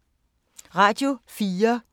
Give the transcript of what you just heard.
Radio 4